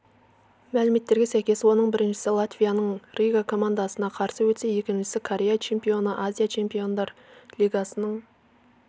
мәліметтерге сәйкес оның біріншісі латвияның рига командасына қарсы өтсе екіншісі корея чемпионы азия чемпиондар лигасының